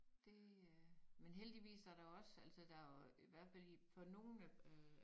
Det øh men heldigvis så der jo også altså der jo i hvert fald for nogen øh